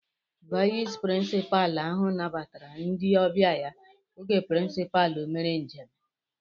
Vayis pirinsipaalu ahụ nabatara ndị ọbịa ya oge pirincipalu mere njem